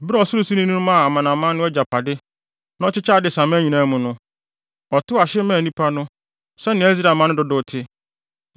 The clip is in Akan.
Bere a Ɔsorosoroni no maa amanaman no agyapade, na ɔkyekyɛɛ adesamma nyinaa mu no, ɔtotoo ahye maa nnipa no sɛnea Israelmma no dodow te.